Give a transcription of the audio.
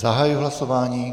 Zahajuji hlasování.